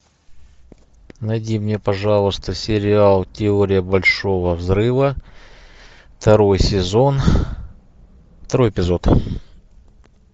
найди мне пожалуйста сериал теория большого взрыва второй сезон второй эпизод